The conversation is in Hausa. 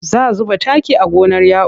Za zuba taki a gonar Ya'u.